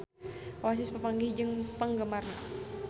Oasis papanggih jeung penggemarna